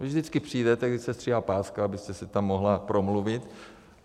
Vy vždycky přijdete, když se stříhá páska, abyste si tam mohla promluvit.